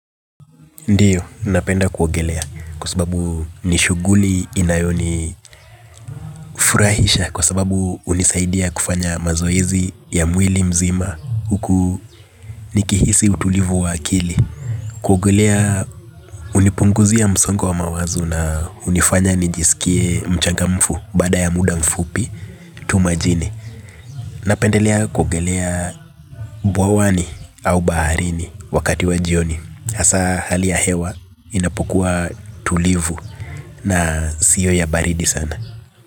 Ndio, napenda kuogelea kwa sababu nishughuli inayonifurahisha kwa sababu hunisaidia kufanya mazoezi ya mwili mzima huku nikihisi utulivu wa akili. Kuogelea hunipunguzia msongo aa mawazo na hunifanya nijisikie mchangamfu baada ya muda mfupi tu majini. Napendelea kuogelea bwawani au baharini wakati wa jioni hasa hali ya hewa, inapokuwa tulivu na sio ya baridi sana.